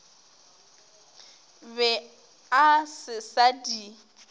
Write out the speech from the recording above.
be a se sa di